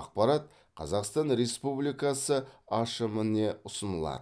ақпарат қазақстан республикасы ашм іне ұсынылады